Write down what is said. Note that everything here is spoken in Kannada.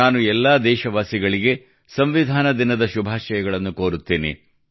ನಾನು ಎಲ್ಲಾ ದೇಶವಾಸಿಗಳಿಗೆ ಸಂವಿಧಾನ ದಿನದ ಶುಭಾಶಯಗಳನ್ನು ಕೋರುತ್ತೇನೆ